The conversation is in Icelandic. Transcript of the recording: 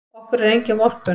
Okkur er engin vorkunn.